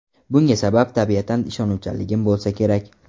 Bunga sabab tabiatan ishonuvchanligim bo‘lsa kerak.